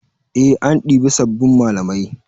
Eh an ɗibi sabbin malamai.